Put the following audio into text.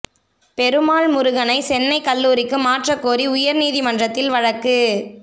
பெருமாள் முருகனை சென்னை கல்லூரிக்கு மாற்றக் கோரி உயர் நீதிமன்றத்தில் வழக்கு